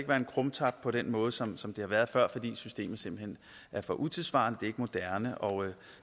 være en krumtap på den måde som som det har været før fordi systemet simpelt hen er for utidssvarende det er ikke moderne og